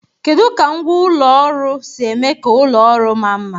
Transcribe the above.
Kedu ka ngwá ụlọ ụlọ ọrụ si eme ka ụlọ ọrụ maa mma?